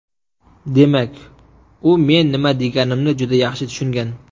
Demak, u men nima deganimni juda yaxshi tushungan.